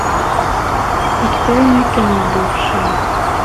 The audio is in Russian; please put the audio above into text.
открой мне кино бывшие